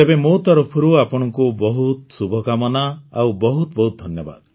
ତେବେ ମୋ ତରଫରୁ ଆପଣଙ୍କୁ ବହୁତ ଶୁଭକାମନା ଆଉ ବହୁତ ବହୁତ ଧନ୍ୟବାଦ